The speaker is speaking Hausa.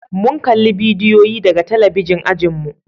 mun kalla bidiyoyi daga talabijin ajinmu